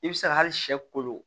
I bɛ se ka hali sɛ kolo